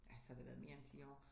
Ja så har det været mere end 10 år